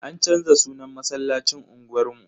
An canza sunan masallacin unguwar mu.